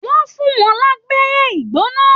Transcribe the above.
Wọn fún wọn labẹ́rẹ́ igbona.